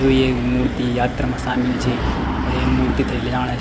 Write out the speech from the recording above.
यु एक मूर्ति यात्रा मा सामिल छे अर ये मूर्ति थे लीजाणे --